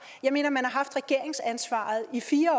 jeg mener man har haft regeringsansvaret i fire